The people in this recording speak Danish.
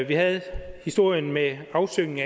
vi havde historien med afsyngningen